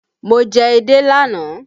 Mo jẹ edé lánàá